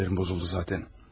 Sinirlərim pozuldu zatən.